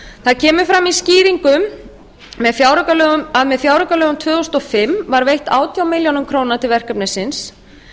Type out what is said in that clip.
það kemur fram í skýringum að með fjáraukalögum tvö þúsund og fimm var veitt átján milljónir króna til verkefnisins